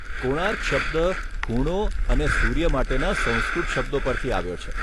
કોણાર્ક' શબ્દ ખૂણો અને સૂર્ય માટેના સંસ્કૃત શબ્દો પરથી આવ્યો છે.